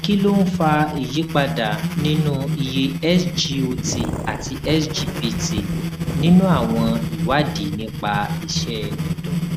kí ló ń fa ìyípadà nínú iye sgot àti sgpt nínú àwọn ìwádìí nípa iṣẹ ẹdọ